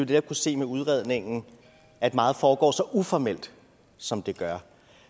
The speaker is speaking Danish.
kan se med udredningen at meget foregår så uformelt som det gør